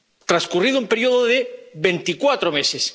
transcurrido un período de 24 meses.